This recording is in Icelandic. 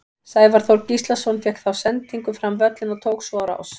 Sævar Þór Gíslason fékk þá sendingu fram völlinn og tók svo á rás.